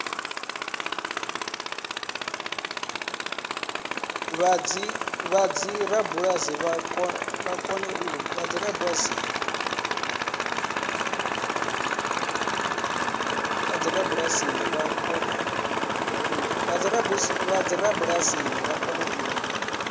vha dzibulasini vha kone u